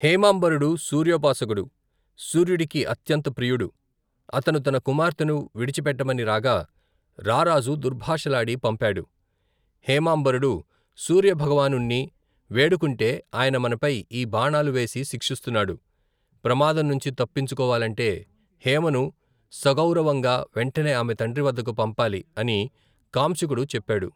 హేమాంబరుడు, సూర్యోపాసకుడు, సూర్యుడికి అత్యంత ప్రియుడు, అతను తన కుమార్తెను, విడిచిపెట్టమని రాగా, రారాజు దుర్భాషలాడి పంపాడు, హేమాంబరుడు, సూర్యభగవానుణ్ణి, వేడుకుoటె ఆయన మనపై ఈ బాణాలు వేసి శిక్షిస్తున్నాడు, ప్రమాదంనుంచి తప్పించుకోవాలంటే, హేమను సగౌరవంగా వెంటనే ఆమె తండ్రివద్దకు పంపాలి అని కాంశుకుడు చెప్పాడు.